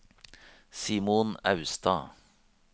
Simon Austad